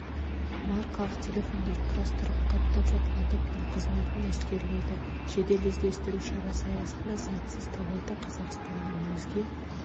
маркалы телефондар құрастырып қаттап жатқан топтың қызметін әшкереледі жедел-іздестіру шарасы аясында заңсыз тауарды қазақстанның өзге